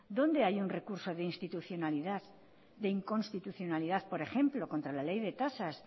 dónde hay un recurso de inconstitucionalidad por ejemplo contra la ley de tasas